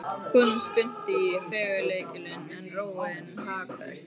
Konan spyrnti í felgulykilinn en róin haggaðist ekki.